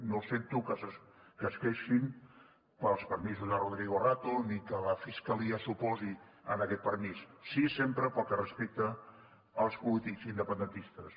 no sento que es queixin pels permisos de rodrigo rato ni que la fiscalia s’oposi a aquest permís sí sempre pel que respecta als polítics independentistes